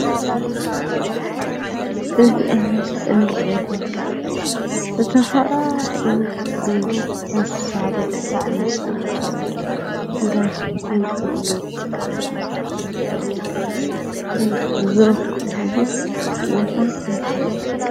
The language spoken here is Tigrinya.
እዚ ኣብ ምስሊ እንሪኦ ዘለና ዝተፈላለዩ እንስሳታት ምስ ሰባት እንዳሸጡ እንዳዓደጉ ዝርከቡሉ ቦታ እንታይ ይባሃል?